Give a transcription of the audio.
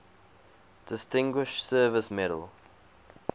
distinguished service medal